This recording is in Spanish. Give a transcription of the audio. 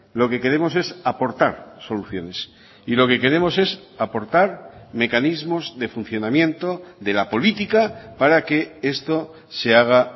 lo que queremos es aportar soluciones y lo que queremos es aportar mecanismos de funcionamiento de la política para que esto se haga